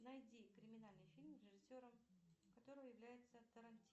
найди криминальный фильм режисером которого является